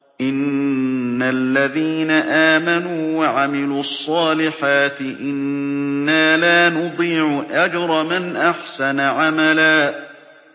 إِنَّ الَّذِينَ آمَنُوا وَعَمِلُوا الصَّالِحَاتِ إِنَّا لَا نُضِيعُ أَجْرَ مَنْ أَحْسَنَ عَمَلًا